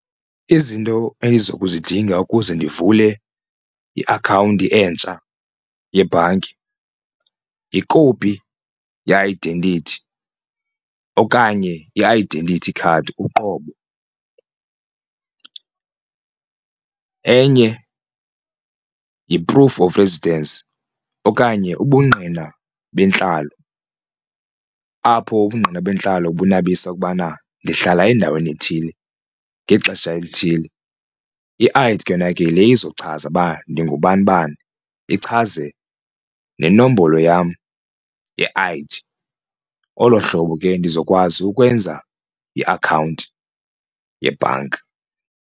Izinto endizokuzidinga ukuze ndivule iakhawunti entsha yebhanki yikopi ye-identity okanye i-identity card uqobo, enye yi-proof of residence okanye ubungqina bentlalo apho ubungqina bentlalo bunabisa ukubana ndihlala endaweni ethile ngexesha elithile. I-I_D ke yona ke yile izochaza uba ndingubanibani ichaze nenombolo yam ye-I_D olo hlobo ke ndizokwazi ukwenza iakhawunti yebhanka.